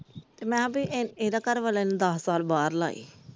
ਤੇ ਮੈ ਕਿਹਾ ਏਦੇ ਘਰਵਾਲੇ ਨੇ ਦੱਸ ਸਾਲ ਬਾਹਰ ਲਾਏ ।